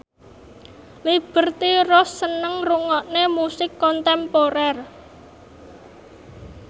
Liberty Ross seneng ngrungokne musik kontemporer